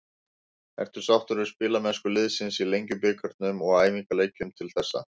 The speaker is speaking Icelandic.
Ertu sáttur við spilamennsku liðsins í Lengjubikarnum og æfingaleikjum til þessa?